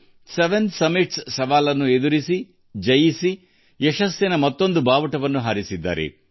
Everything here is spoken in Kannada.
7 ಸವಾಲುಗಳನ್ನು ಪೂರ್ಣಗೊಳಿಸುವ ಮೂಲಕ ಪೂರ್ಣಾ ತಮ್ಮ ಯಶಸ್ಸಿನ ಮುಡಿಗೆ ಮತ್ತೊಂದು ಗರಿಯನ್ನು ಸಿಕ್ಕಿಸಿಕೊಂಡಿದ್ದಾರೆ